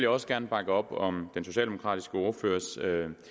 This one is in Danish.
også gerne bakke op om den socialdemokratiske ordførers